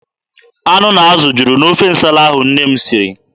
Anụ na azụ juru n'ofe nsala ahụ nne m siri.